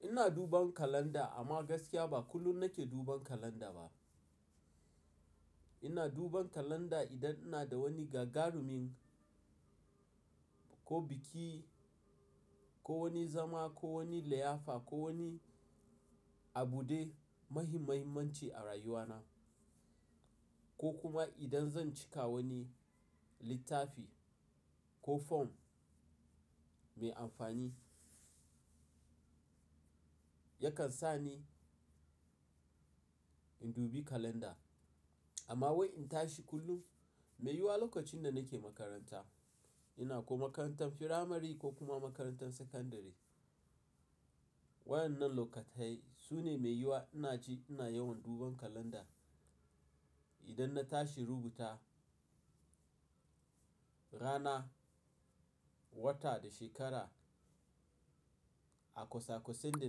Ina duban kalanda amma gaskiya ba kullum nake duban kalanda ba. Ina duban kalanda idan ina da wani gagarumin ko biki ko wani zama ko wani liyafa ko wani abude muhim-muhimanci a rayuwana. Ko kuma idan zan cika wani littafi ko fom mai amfani, yakan sa ni in dubi kalanda. Amma wai in tashi kullum, mai yiwuwa lokacin da nake makaranta, ina ko makarantar firamare ko kuma makarantan sakandare. Waɗannan lokatai su ne mai yiwuwa ina ji ina yawan duban kalanda idan na tashi rubuta rana, wata da shekara a kwasa-kwasan da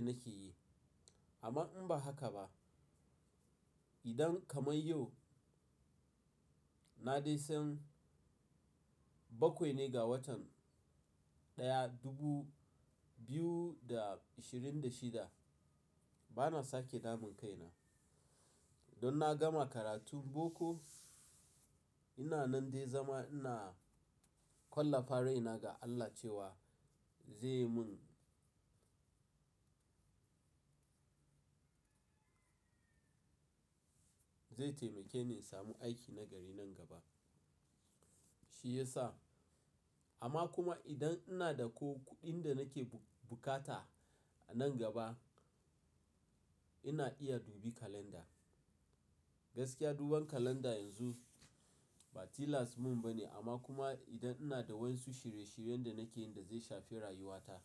nake yi. Amma in ba haka ba, idan kamar yau na dai san bakwai ne ga watan ɗaya dubu biyu da ashirin da shida, bana sake damun kaina. Don na gama karatun boko, ina nan dai zama ina kwalla fa raina ga Allah cewa zai mun, zai taimake ni in samu aiki na gari nan gaba, shi yasa. Amma kuma idan ina da ko kuɗin da nake bukata nan gaba, ina iya dubi kalanda. Gaskiya duban kalanda yanzu ba tilasmin ba ne amma kuma idan ina da wasu shirye-shiryen da nake yi da zai shafe rayuwata,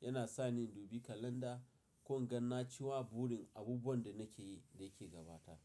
yana sa ni in dubi kalanda ko in ganna cewa burin abubuwan da nake yi da yake gabata.